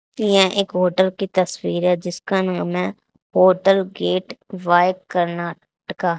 यहां एक होटल की तस्वीर है जिसका नाम है होटल गेट बाय कर्नाटका।